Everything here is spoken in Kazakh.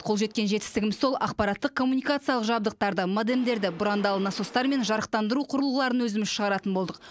қол жеткен жетістігіміз сол ақпараттық коммуникациялық жабдықтарды модемдерді бұрандалы насостар мен жарықтандыру құрылғыларын өзіміз шығаратын болдық